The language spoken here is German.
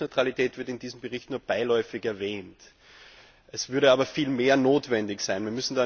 Das Thema Netzneutralität wird in diesem Bericht nur beiläufig erwähnt. Es würde aber viel mehr notwendig sein.